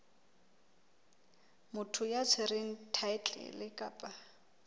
motho ya tshwereng thaetlele kapa